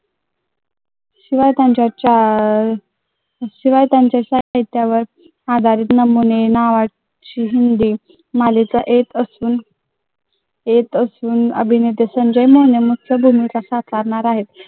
शिवाय त्यांच्या साहित्यावर आधारित नमुने हिंदी मालिका येत असून